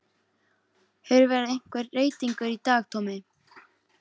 Hefur verið einhver reytingur í dag Tommi?